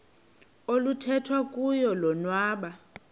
oluthethwa kuyo lobonwa